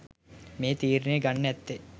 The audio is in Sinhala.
මේ තීරණය ගන්න ඇත්තේ